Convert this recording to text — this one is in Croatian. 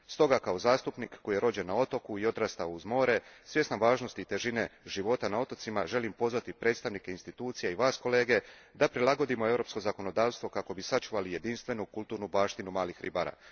Stoga kao zastupnik koji je rođen na otoku i odrastao uz more, svjestan važnosti i težine života na otocima, želim pozvati predstavnike institucija i vas kolege da prilagodimo europsko zakonodavstvo kako bismo sačuvali jedinstvenu kulturnu baštinu malih ribara.